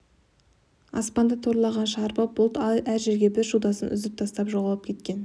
аспанды торлаған шарбы бұлт әр жерге бір шудасын үзіп тастап жоғалып кеткен